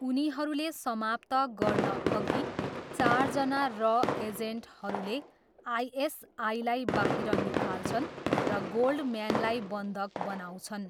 उनीहरूले समाप्त गर्नअघि, चारजना रअ एजेन्टहरूले आइएसआईलाई बाहिर निकाल्छन् र गोल्डम्यानलाई बन्धक बनाउँछन्।